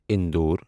انِدۄر